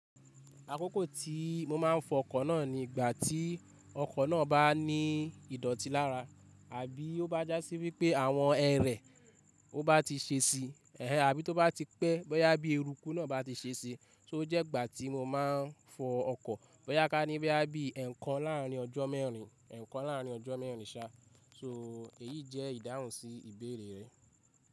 Àkókò tí mo máa ń fọ ọkọ̀ náà ní ìgbà tí ọkọ̀ náà bá ní ìdọ̀tí lára àbí ó bá da sí wípé àwọn ẹrẹ̀ ọ bá ti ṣe ṣi, ehen àbí tó bá ti pẹ́ bóyá bí eruku náà bá ti ṣe ṣi to jẹ́ ìgbà tí mo máa ń fọ ọkọ̀ bóyá ká ní bóyá bí ẹ̀kan láàrín ọjọ́ mẹ́rin, ẹ̀kan láàrín ọjọ́ mẹ́rin sa. So èyí jẹ́ ìdáhùn sí ìbéèrè rẹ.